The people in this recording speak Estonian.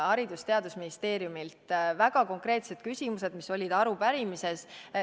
Haridus- ja Teadusministeeriumile olid väga konkreetsed küsimused arupärimises.